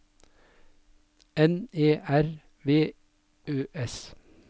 N E R V Ø S